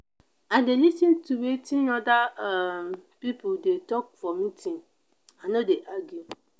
i dey lis ten to wetin oda um pipo dey tok for meeting i no dey argue.